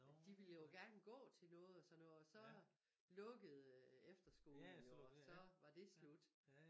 De ville jo gerne gå til noget og sådan noget og så lukkede efterskolen jo og så var det slut